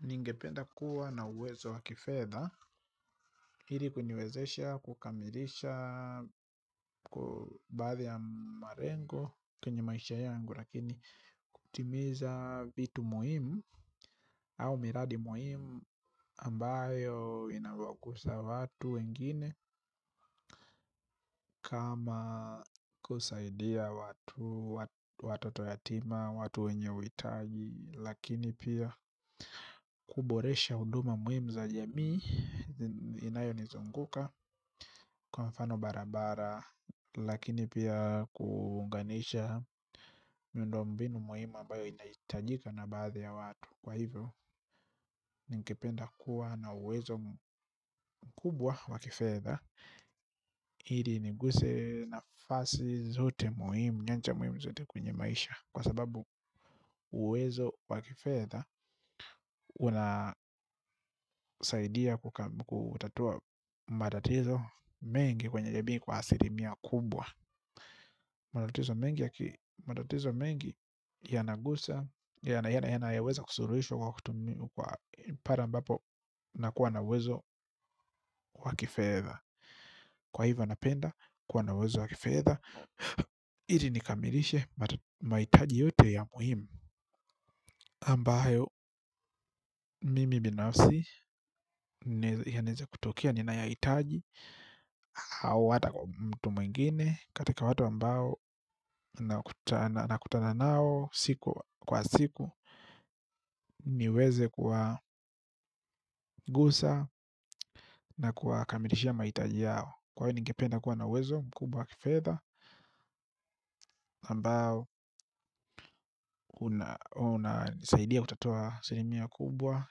Ningependa kuwa na uwezo wa kifedha ili kuniwezesha kukamilisha baadhi ya malengo kwenye maisha yangu lakini kutimiza vitu muhimu au miradi muhimu ambayo inawagusa watu wengine kama kusaidia watu watoto yatima watu wenye huitaji lakini pia kuboresha huduma muhimu za jamii inayo nizunguka kwa mfano barabara lakini pia kuunganisha miundo mbinu muhimu ambayo inahitajika na baadhi ya watu kwa hivyo ningependa kuwa na uwezo mkubwa wa kifedha ili niguse nafasi zote muhimu, nyanja muhimu zote kwenye maisha kwa sababu uwezo wakifedha unasaidia kutatua matatizo mengi kwenye jamii kwa asilimia kubwa. Matatizo mengi, yanayoweza kusuluhishwa kwa kutumia, pale mbapo unakuwa na uwezo wa kifedha. Kwa hivyo napenda, kuwa na uwezo wa kifedha, ili nikamilishe mahitaji yote ya muhimu ambayo, mimi binafsi yanaeza kutokea ninayahitaji au ata mtu mwingine. Katika watu ambao nakutana nao siku kwa siku niweze kuwagusa na kuwakamilishia mahitaji yao. Kwa hiyo ningependa kuwa na uwezo mkubwa wa kifedha ambao, unanisaidia kutatua asilimia kubwa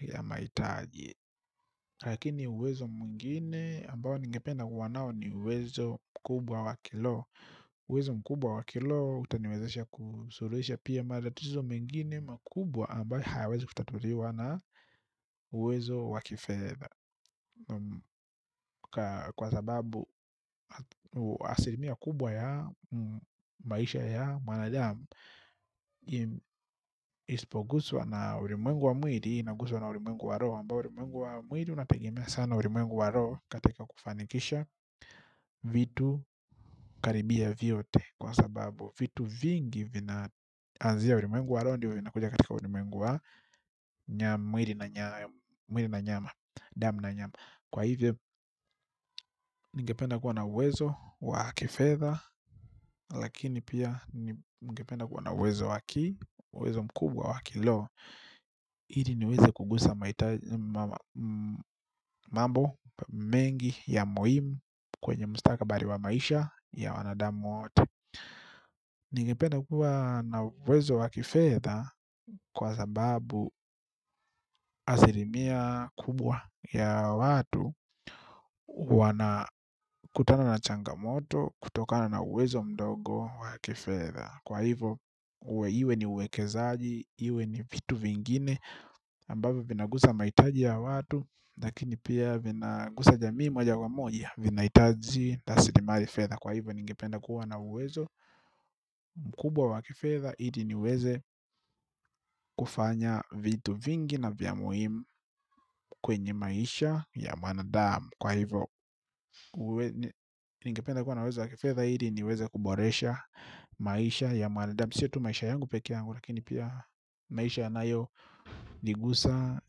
ya mahitaji lakini uwezo mwingine mbao ningependa kuwa nayo ni uwezo mkubwa wa kiroho, uwezo mkubwa wa kiroho utaniwezesha kusuluhisha matatizo mengine makubwa ambayo hayawezi kutatuliwa na uwezo wa kifedha. Kwa sababu asilimia kubwa ya maisha ya mwanadamu. Isipoguswa na ulimwengu wa mwili inaguzwa na ulimwengu wa roho ambayo ulimwengu wa mwili unategemea sana ulimwengu wa roho katika kufanikisha vitu karibia kwa sababu vitu vingi vinaanzia ulimwengu wa roho ndio inakuja katika ulimwengu wa mwili na nyama damu na nyama kwa hivo ningependa kuwa na uwezo wa lakini pia ningependa kuwa na uwezo mkubwa wa kiroho ili niweze kugusa mambo mengi ya muhimu kwenye mustakabali wa maisha ya wanadamu wote. Ningependa kuwa na uwezo wa kifedha kwa sababu asilimia kubwa ya watu wanakutana na changamoto kutokana na uwezo mdogo wakifedha. Kwa hivo iwe ni uwekezaji, iwe ni vitu vingine ambavyo vinagusa mahitaji ya watu. Lakini pia vinagusa jamii moja kwa moja. Vinahitazi na rasilimali fedha. Kwa hivo ningependa kuwa na uwezo mkubwa wa kifedha ili niweze kufanya vitu vingi na vya muhimu kwenye maisha ya mwanadamu. Kwa hivo ningependa kuwa na uwezo wa kifedha ili niweze kuboresha maisha ya mwanadamu sio tu maisha yangu pekee yangu. Lakini pia maisha yanayo ni gusa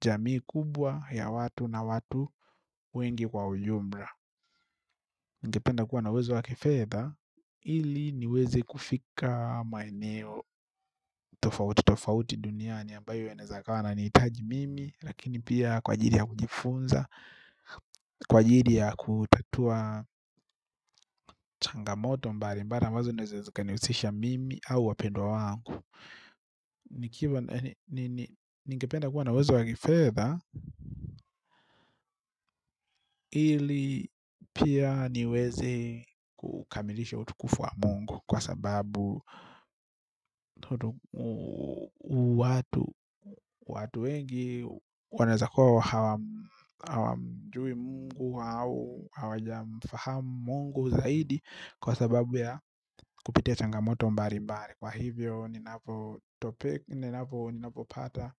jamii kubwa ya watu na watu wengi kwa ujumla ningependa kuwa na uwezo wa kifedha ili niweze kufika maeneo tofauti tofauti duniani ambayo yanaweza kawa yananihitaji mimi lakini pia kwa ajili ya kujifunza kwa ajili ya kutatua changamoto mbali mbali ambazo zinaweza zikanihusisha mimi au wapendwa wangu kuwa nawezo wake feather ili pia niweze kukamilisha utukufu wa mungu. Kwa sababu watu wengi wanawezakuwa hawamjui mungu au hawajamfahamu mungu zaidi. Kwa sababu ya kupitia changamoto mbali mbali. Kwa hivyo ninapopata.